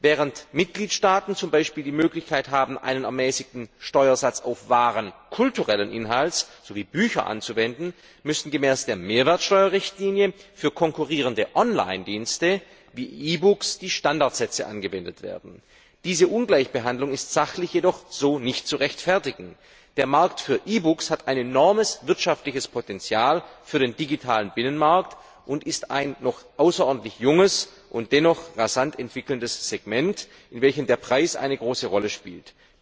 Während Mitgliedstaaten z. B. die Möglichkeit haben, einen ermäßigten Steuersatz auf Waren kulturellen Inhalts sowie Bücher anzuwenden, müssen gemäß der Mehrwertsteuerrichtlinie für konkurrierende Online Dienste wie E Books die Standardsätze angewendet werden. Diese Ungleichbehandlung ist sachlich jedoch so nicht zu rechtfertigen. Der Markt für E Books hat ein enormes wirtschaftliches Potenzial für den digitalen Binnenmarkt und ist ein noch außerordentlich junges und sich dennoch rasant entwickelndes Segment, in welchem der Preis eine große Rolle spielt.